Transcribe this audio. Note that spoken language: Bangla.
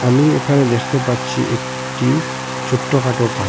আমি এখানে দেখতে পাচ্ছি একটি ছোট্টখাট্টো পার্ক ।